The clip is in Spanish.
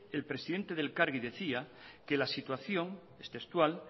el presidente del elkarri decía que la situación es textual